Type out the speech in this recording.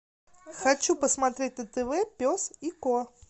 хочу посмотреть на тв пес и ко